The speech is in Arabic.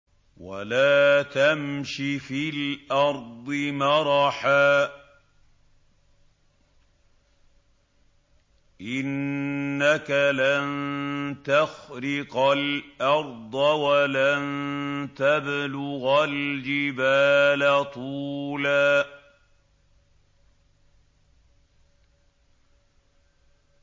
وَلَا تَمْشِ فِي الْأَرْضِ مَرَحًا ۖ إِنَّكَ لَن تَخْرِقَ الْأَرْضَ وَلَن تَبْلُغَ الْجِبَالَ طُولًا